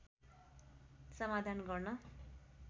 समाधान गर्न